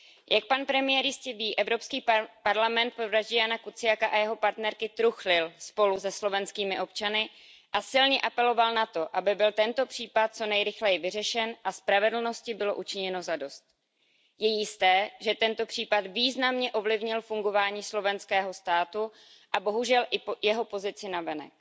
Jak pan premiér jistě ví, Evropský parlament po vraždě Jána Kuciaka a jeho partnerky truchlil spolu se slovenskými občany a silně apeloval na to, aby byl tento případ co nejrychleji vyřešen a spravedlnosti bylo učiněno zadost. Je jisté, že tento případ významně ovlivnil fungování slovenského státu a bohužel i jeho pozici navenek.